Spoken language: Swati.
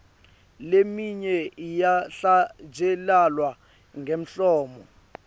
leminye iyahlatjelelwa ngemlomo